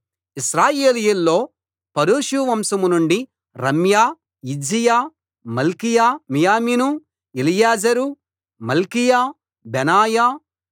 ఇశ్రాయేలీయుల్లో పరోషు వంశం నుండి రమ్యా యిజ్జీయా మల్కీయా మీయామిను ఎలియేజరు మల్కీయా బెనాయా